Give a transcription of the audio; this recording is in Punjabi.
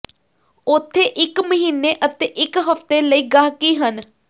ਉੱਥੇ ਇੱਕ ਮਹੀਨੇ ਅਤੇ ਇੱਕ ਹਫ਼ਤੇ ਲਈ ਗਾਹਕੀ ਹਨ